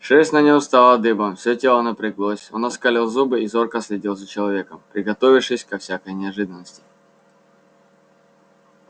шерсть на нём встала дыбом всё тело напряглось он оскалил зубы и зорко следил за человеком приготовившись ко всякой неожиданности